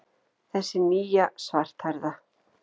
Þessi nýja, svarthærða.